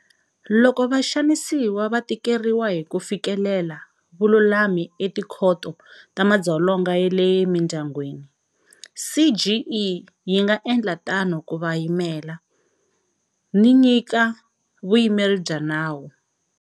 Loko vaxanisiwa va tikeriwa hi ku fikelela vululami eTikhoto ta Madzolonga ya le Mindyangwini, CGE yi nga endla tano ku va yimela, ni nyika vuyimeri bya nawu.